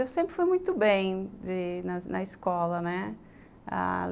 Eu sempre fui muito bem de na escola, né.